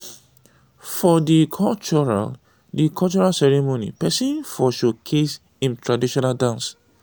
for di cultural di cultural ceremony person fot showcase im traditional dance